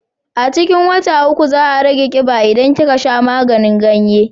A cikin wata uku za a rage kiba idan kika sha maganin ganye